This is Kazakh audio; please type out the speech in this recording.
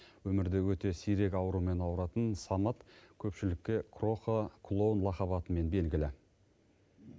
өмірде өте сирек аурумен ауыратын самат көпшілікке кроха клоун лақап атымен белгілі